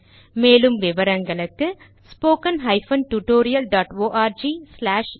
மேலும் விவரங்களுக்கு 2 மூலப்பாடம் டேலன்ட்ஸ்பிரின்ட்